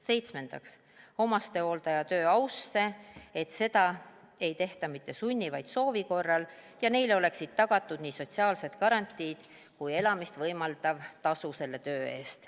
Seitsmendaks, omastehooldaja töö ausse, et seda ei tehta mitte sunni, vaid soovi korral ja neile oleksid tagatud nii sotsiaalsed garantiid kui elamist võimaldav tasu selle töö eest.